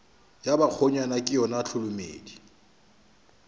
ya bakgonyana ke yona tholomedi